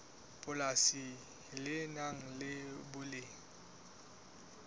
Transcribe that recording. polasi le nang le boleng